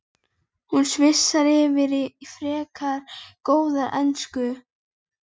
Hún svissar yfir í frekar góða ensku